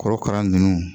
Korokara ninnu